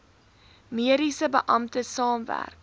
mediese beampte saamwerk